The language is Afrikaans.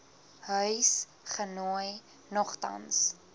huis genooi nogtans